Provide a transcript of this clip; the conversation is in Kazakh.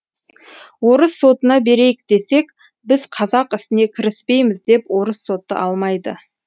орыс сотына берейік десек біз қазақ ісіне кіріспейміз деп орыс соты алмайды